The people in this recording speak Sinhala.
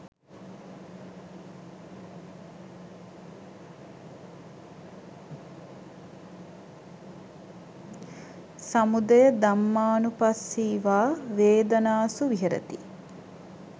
සමුදය ධම්මානුපස්සී වා වේදනාසු විහරති